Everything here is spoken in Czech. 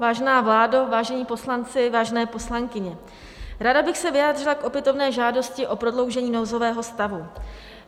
Vážená vládo, vážení poslanci, vážené poslankyně, ráda bych se vyjádřila k opětovné žádosti o prodloužení nouzového stavu.